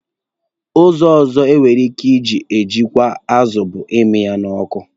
Ụzọ ọzọ enwere ike iji chekwa azụ bụ imi ya n'ọkụ.